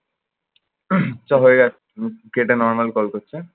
চল হয়ে যাক, কেটে normal call করতে।